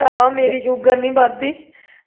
ਭਰਾਵਾ ਮੇਰੀ sugar ਨਹੀਂ ਵੱਜਦੀ